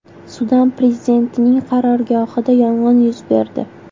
Sudan prezidentining qarorgohida yong‘in yuz berdi.